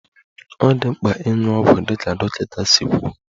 Ọ dị mkpa ịṅụ ọgwụ dịka dọkịta si kwuo